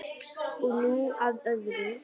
Og nú að öðru.